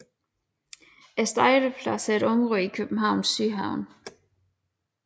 Stejlepladsen er et område i Københavns Sydhavn